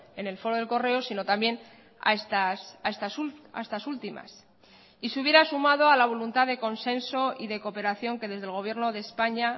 en el foro de el correo sino también a estas últimas y se hubiera sumado a la voluntad de consenso y de cooperación que desde el gobierno de españa